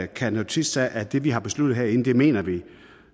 kan notere sig at det vi har besluttet herinde mener vi